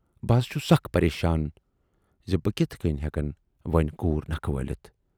بہٕ حض چھُس سخ پریشان زِ بہٕ کِتھٕ کٔنۍ ہٮ۪کن وۅنۍ کوٗر نکھٕ وٲلِتھ؟